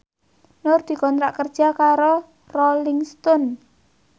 Nur dikontrak kerja karo Rolling Stone